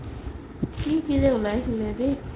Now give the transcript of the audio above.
কি কি যে উলাইছিলে দেই